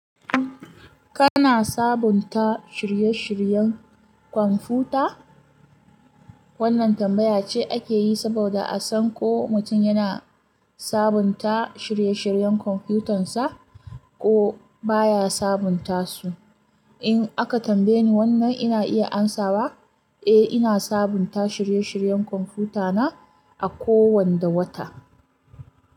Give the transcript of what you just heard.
Kana sabunta shirye-shiryen computer? Wannan tambaya ce ake yi saboda a san ko mutum yana sabunta shirye-shiryen kwamfutansa ko baya sabunta su. In aka tambaye ni wannan ina iya amsawa, eh ina sabunta shirye-shiryen kwamfutana a kowanda wata.